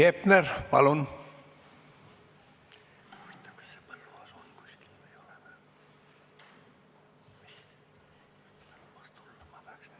Heiki Hepner, palun!